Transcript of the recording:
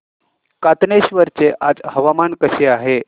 कातनेश्वर चे आज हवामान कसे आहे